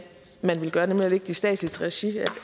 man ville gøre nemlig at lægge det i statsligt regi